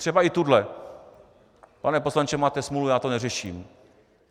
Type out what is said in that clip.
Třeba i tuhle: Pane poslanče, máte smůlu, já to neřeším.